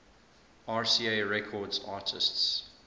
rca records artists